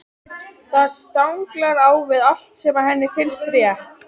Það stangast á við allt sem henni finnst rétt.